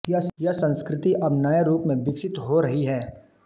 यह संस्कृति अब नये रूप में विकसित हो रही है